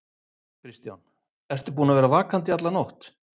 Kristján: Ertu búinn að vera vakandi í alla nótt?